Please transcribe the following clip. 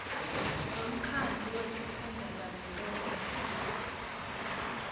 wemkhandlu wetifundza tavelonkhe